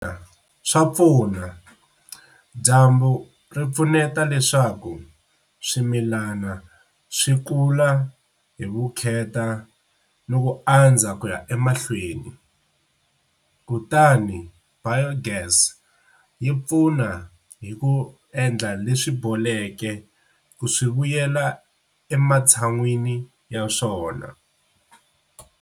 Swa pfuna, dyambu ri pfuneta leswaku swimilana swi kula hi vukheta no ku andza ku ya emahlweni kutani biogas yi pfuna hi ku endla leswi boleke ku swi vuyela ematshan'wini ya swona.